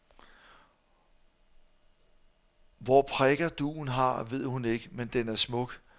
Hvor prikker dugen har, ved hun ikke, men den er smuk.